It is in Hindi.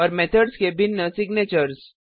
और मेथड्स के भिन्न सिग्नेचर्स